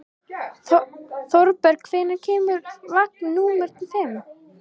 Þorbergur, hvenær kemur vagn númer fimm?